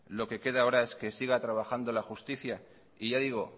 lo que queda ahora es que siga trabajando la justicia y ya digo